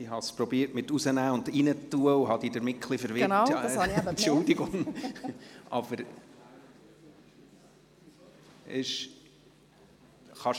Ich habe versucht, das Mikrofon aus- und wieder einzuschalten, und habe Sie damit ein bisschen verwirrt, Entschuldigung.